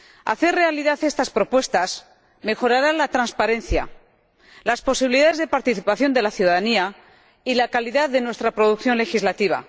Hacer realidad estas propuestas mejorará la transparencia, las posibilidades de participación de la ciudadanía y la calidad de nuestra producción legislativa.